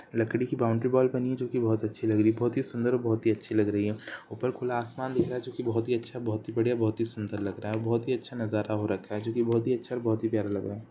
लकड़ी की boundary wall बनी है जो की बहुत अच्छी लग रही हैं बहुत ही सुन्दर और बहुत ही अच्छी लग रही है ऊपर खुला आसमान दिख रहा है जो की बहुत ही अच्छा बहुत ही बढ़िया बहुत ही सुन्दर लग रहा है बहुत ही अच्छा नजारा हो रखा है जो की बहुत ही अच्छा और बहुत ही प्यारा लग रहा है।